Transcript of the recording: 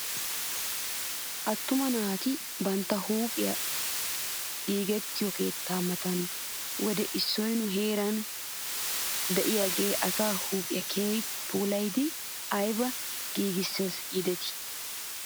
Attuma naati bantta huuphiyaa giigettiyoo keettaa mata wode issoy nu heeran dooyidaagee asaa huuphphiyaa keehippe puulaydi ayba giigisses giidetii .